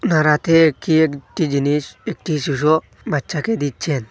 তার হাতে কি একটি জিনিস একটি শিশু বাচ্চাকে দিচ্ছেন।